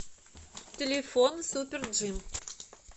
телефон супер джим